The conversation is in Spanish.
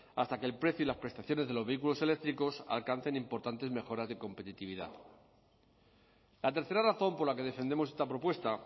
hasta que el precio y las prestaciones de los vehículos eléctricos alcancen importantes mejoras de competitividad la tercera razón por la que defendemos esta propuesta